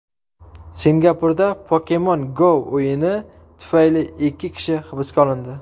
Singapurda Pokemon Go o‘yini tufayli ikki kishi hibsga olindi.